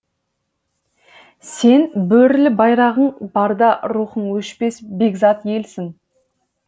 сен бөрілі байрағың барда рухың өшпес бекзат елсің